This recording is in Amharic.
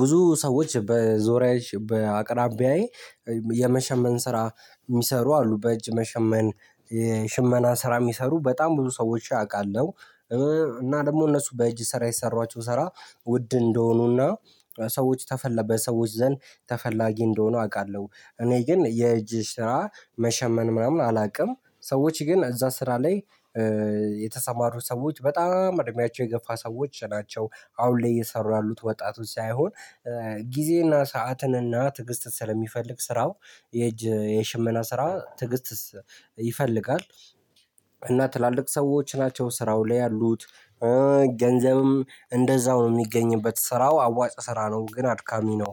ብዙ ሰዎች በዙሪያዬ በአቅራቢያዬ የመሸመን ስራ የሚሰሩ አሉ። በእጅ መሸመን ሽመና ስራ የሚሰሩ በጣም ብዙ ሰዎች አውቃለሁ። እና ደግሞ እነሱ በእጅ ስራ የሰሯቸው ስራ ውድ እንደሆኑና ሰዎች ተፈላ በሰዎች ዘንድ ተፈላጊ እንደሆኑ አውቃለሁ። እኔ ግን የእጅ ስራ መሸመን ምናምን አላውቅም። ሰዎች ግን እዛ ስራ ላይ የተሰማሩ ሰዎች በጣም እድሜያቸው የገፋ ሰዎች ናቸው አሁን ላይ እየሰሩ ያሉት ወጣቱ ሳይሆን። ጊዜና ሰዓትንና ትዕግስት ስለሚፈልግ ስራው የእጅ የሽመና ስራ ትዕግስትስ ይፈልጋል። እና ትላልቅ ሰዎች ናቸው ስራው ላይ ያሉት። ገንዘብም እንደዛው ነው የሚገኝበት ስራው አዋጭ ስራ ነው ግን አድካሚ ነው።